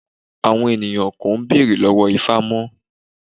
Àwọn ènìyàn kò béèrè lọ́wọ́ ifá mọ